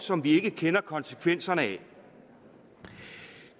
som vi ikke kender konsekvenserne af